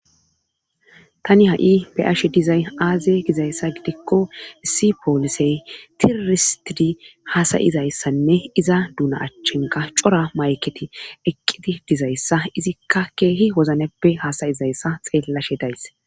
tani ha7i be ashe dizay aaze gizayssa gidikko issi poolisey tiroristidi hasayizayssanne iza duuna achchenka cora mayketi eqqiti dizayssa izikka keehi wozneppe hasayizayssa xeellashe days